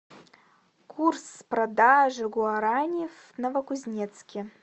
курс продажи гуарани в новокузнецке